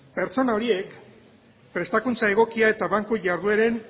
pertsona horiek prestakuntza egokia eta banku jardueren